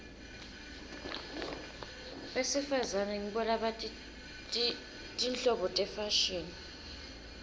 besifazane ngibo labati tinhlobo tefashini